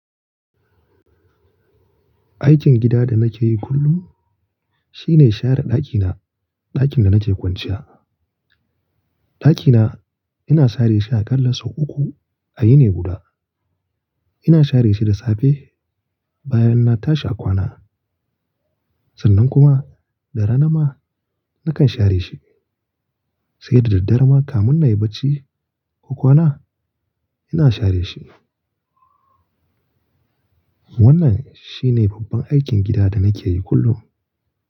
Aikin gida da nake yi kullum shine share ɗakina, ɗakin da nake kwanciya. Ɗakina ina share shi a ƙalla sau uku a yini guda. Ina share shi da safe, bayan na tashi a kwana, sannan kuma da rana ma nakan share shi, sai da dare ma kamun na yi bacci ko kwana ina share shi. Wannan shi ne babban aikin gida da nake yi kullum.